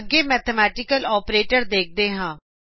ਅੱਗੇ mathematical operators ਦੇਖਦੇ ਹਾਂ